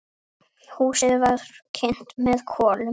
Húsið var kynt með kolum.